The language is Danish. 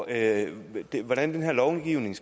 lave lovgivning